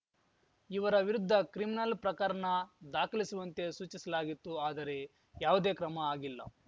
ಇವರ ವಿರುದ್ಧ ಕ್ರಿಮಿನಲ್ ಪ್ರಕರನ ದಾಖಲಿಸುವಂತೆ ಸೂಚಿಸಲಾಗಿತ್ತು ಆದರೆ ಯಾವುದೇ ಕ್ರಮ ಆಗಿಲ್ಲ